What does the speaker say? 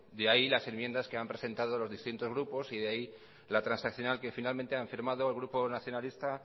de ahí las enmiendas que han presentado los distintos grupos y de ahí la transaccional que finalmente han firmado el grupo nacionalista